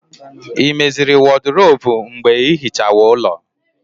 Ị meziri wọdrobu mgbe ịhichawa ulọ